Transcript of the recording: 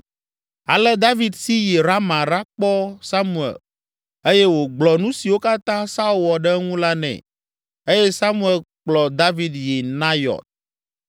Ale David si yi Rama ɖakpɔ Samuel eye wògblɔ nu siwo katã Saul wɔ ɖe eŋu la nɛ eye Samuel kplɔ David yi Nayɔt.